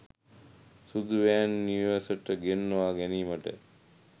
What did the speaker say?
සුදු වෑන් නිවසට ගෙන්වා ගැනීමට